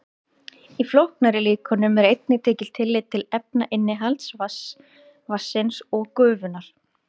Í flóknari líkönum er einnig tekið tillit til efnainnihalds vatnsins og gufunnar.